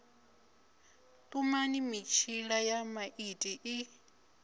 tumani mitshila ya maiti i